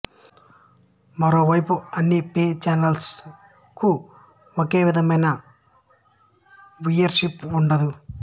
మరో వైపు అన్ని పే చానల్స్ కూ ఒకే విధమైన వ్యూయర్ షిప్ ఉండదు